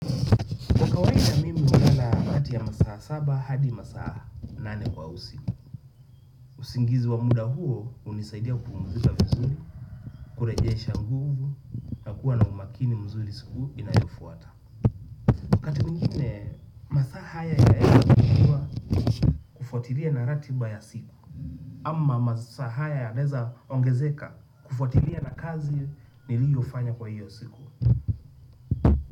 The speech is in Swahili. Kwa kawada mimi hulala kati ya masaa saba hadi masaa nane kwa usiku. Usingizi wa muda huo hunisaidia kumpuzika vizuri, kurejesha nguvu, na kuwa na umakini mzuri siku inayofuata. Wakati mwingine, masaa haya ya hivyo kufuatiria na ratiba ya siku. Ama masaa haya yanaeza ongezeka kufuatiria na kazi niliyo fanya kwa hiyo siku.